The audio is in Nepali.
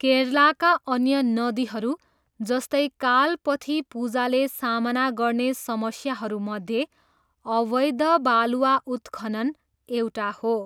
केरलाका अन्य नदीहरू, जस्तै, कालपथीपुजाले सामना गर्ने समस्याहरूमध्ये अवैध बालुवा उत्खनन एउटा हो।